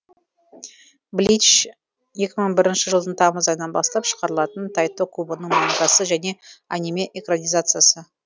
блич екі мың бірінші жылдың тамыз айынан бастап шығарылатын тайто кубоның мангасы және аниме экранизациясы